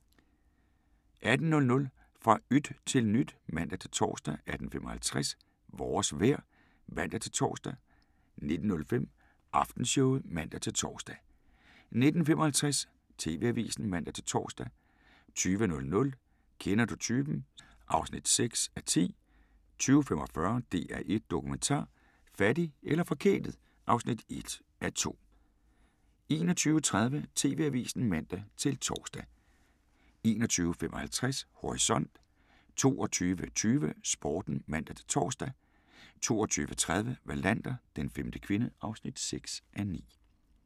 18:00: Fra yt til nyt (man-tor) 18:55: Vores vejr (man-tor) 19:05: Aftenshowet (man-tor) 19:55: TV-avisen (man-tor) 20:00: Kender du typen? (6:10) 20:45: DR1 Dokumentar: Fattig eller forkælet (1:2) 21:30: TV-avisen (man-tor) 21:55: Horisont 22:20: Sporten (man-tor) 22:30: Wallander: Den femte kvinde (6:9)